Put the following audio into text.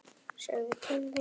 Segðu til þín!